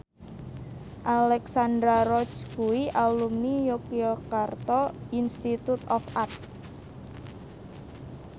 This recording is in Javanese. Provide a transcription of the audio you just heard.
Alexandra Roach kuwi alumni Yogyakarta Institute of Art